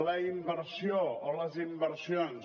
la inversió o les inversions